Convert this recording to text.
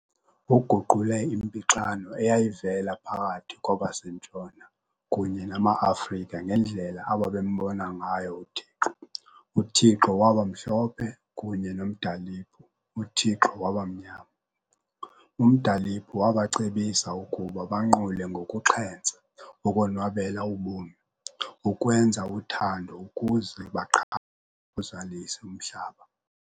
Uguqule impixano eyayivela phakathi kwabaseNtshona kunye namaAfrika ngendlela ababembona ngayo uThixo, uthixo wabamhlophe kunye noMdaliphu uthixo wabanyama. UMdaliphu wabacebisa ukuba banqule ngokuxhentsa, ukonwabela ubomi, ukwenza uthando ukuze baqhame bawuzalise umhlaba.